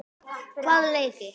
Hvaða leiki?